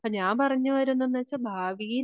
ഞാൻ പറഞ്ഞു വരുന്നന്തന്തെന്നുവെച്ചാൽ ഭാവിയിൽ